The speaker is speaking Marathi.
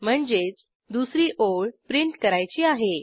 म्हणजेच दुसरी ओळ प्रिंट करायची आहे